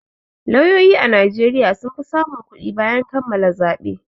Lauyoyi a Najeriya sun fi samun kuɗi bayan kammala zaɓe.